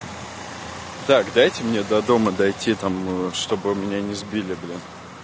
так дайте мне до дома дойти там чтобы меня не сбили блин